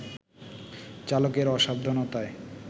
চালকের অসাবধানতায়